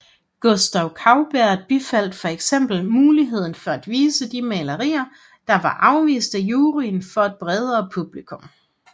Gustave Courbet bifaldt for eksempel muligheden for at vise de malerier der var afvist af juryen for et bredere publikum